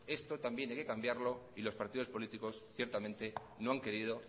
esto también hay que cambiarlo y los partidos políticos ciertamente no han querido